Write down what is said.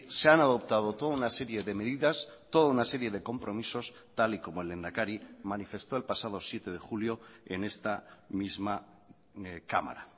se han adoptado toda una serie de medidas toda una serie de compromisos tal y como el lehendakari manifestó el pasado siete de julio en esta misma cámara